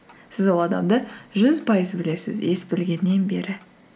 сіз ол адамды жүз пайыз білесіз ес білгеннен бері